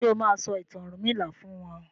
ṣe o ma sọ ìtàn ọrunmila fún wón?